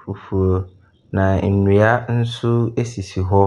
fufuo, na nnua bi nso sisi hɔ.